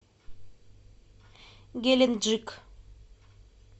геленджик